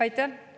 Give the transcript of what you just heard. Aitäh!